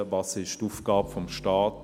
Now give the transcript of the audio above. Was ist die Aufgabe des Staates?